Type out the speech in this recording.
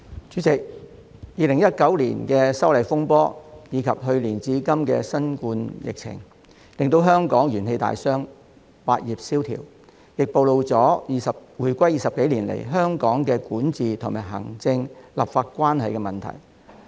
主席 ，2019 年的反修例風波，加上去年至今的新冠疫情，令香港元氣大傷，百業蕭條，亦暴露了回歸20多年來香港的管治及行政立法關係的問題。